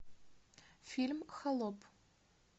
фильм холоп